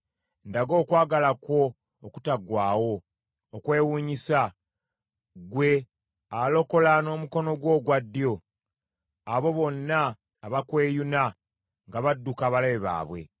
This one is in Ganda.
Ndaga okwagala kwo okutaggwaawo, okwewuunyisa, ggwe alokola n’omukono gwo ogwa ddyo abo bonna abakweyuna nga badduka abalabe baabwe.